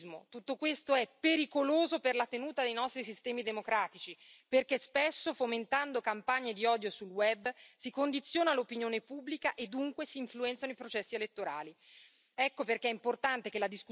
Tutto questo non è complottismo, tutto questo è pericoloso per la tenuta dei nostri sistemi democratici, perché spesso, fomentando campagne di odio sul web, si condiziona l'opinione pubblica e dunque si influenzano i processi elettorali.